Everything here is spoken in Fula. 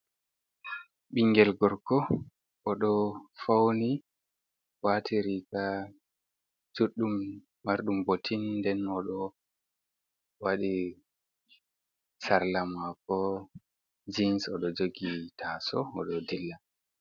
Ɓiingel gorko oɗo fauni waati riga juɗɗum marɗum botin nden oɗo waɗi sarla mako jins oɗo jogi tasau oɗo dilla.